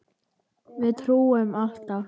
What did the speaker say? Við trúum alltaf.